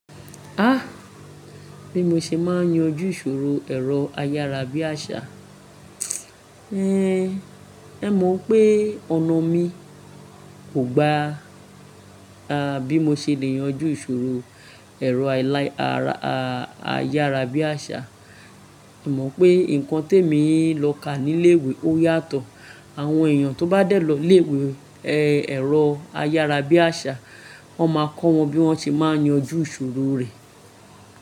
Ah! Bí mo ṣe máa ń yanjú ìṣòro ẹ̀rọ ayárabíàṣá, ehn, ẹ mọ̀ pé ọ̀nà mi kò gba. Ah bí mo ṣe lè yanjú ìṣòro ẹ̀rọ ayára bíàṣá, èmọ̀ pé nǹkan tí èmi ń lọ ká nílé ìwé ó yàtọ̀. Àwọn èèyàn tó bá dẹ̀ lọ ilé ìwé ẹ̀rọ ayára bíàṣá, wọ́n máa kọ́ wọn bí wọ́n ṣe máa ń yanjú ìṣòro rẹ̀.